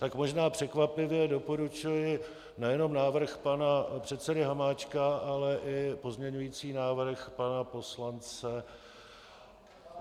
Tak možná překvapivě doporučuji nejenom návrh pana předsedy Hamáčka, ale i pozměňující návrh pana poslance...